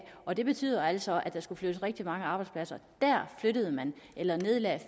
og det betød altså at der skulle flyttes rigtig mange arbejdspladser der flyttede man eller nedlagde